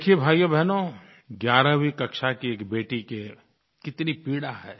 देखिए भाइयोबहनो 11वीं कक्षा की एक बेटी की कितनी पीड़ा है